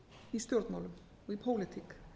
í stjórnmálum í pólitík